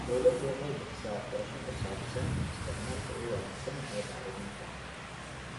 Dawladdu waxay bixisaa waxbarasho ku saabsan isticmaalka ugu wanaagsan ee bacriminta.